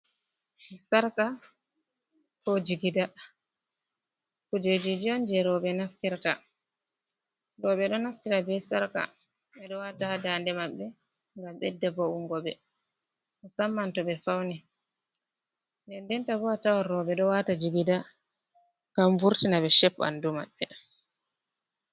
Sarka ko jigida, kujeji on je roɓe naftrta, roɓe ɗo naftira be sarka ɓe ɗo wata ha daande maɓɓe gam ɓedda vo’ungo be samman to ɓe fauni, nden denta bo a tawan roɓe ɗo wata jigida kam vurtina be shep ɓandu maɓɓe.